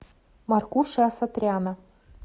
маркуши асатряна